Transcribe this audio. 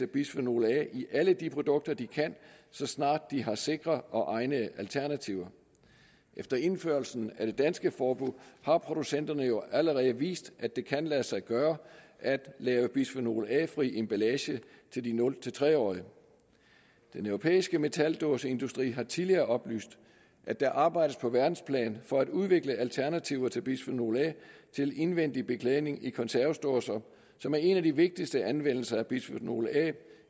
bisfenol a i alle de produkter de kan så snart de har sikre og egnede alternativer efter indførelsen af det danske forbud har producenterne jo allerede vist at det kan lade sig gøre at lave bisfenol a fri emballage til de nul tre årige den europæiske metaldåseindustri har tidligere oplyst at der arbejdes på verdensplan for at udvikle alternativer til bisfenol a til indvendig beklædning i konservesdåser som er en af de vigtigste anvendelser af bisfenol a